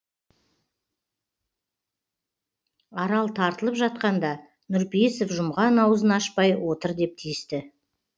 арал тартылып жатқанда нұрпейісов жұмған аузын ашпай отыр деп тиісті